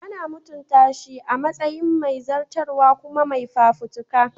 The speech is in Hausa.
Ana mutunta shi a matsayin mai zartaswa kuma mai fafutuka.